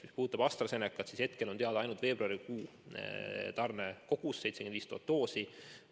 Mis puudutab AstraZenecat, siis hetkel on teada ainult veebruarikuu tarne suurus: 75 000 doosi.